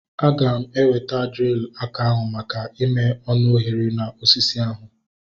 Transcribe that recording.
Aga m eweta drilu aka ahu maka ime ọnụ oghere na osisi ahu